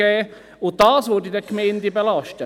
Dies würde die Gemeinden dann tatsächlich belasten.